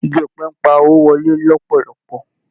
Ìgi ọ̀pẹ ń pa owó wọlé lòpòlopò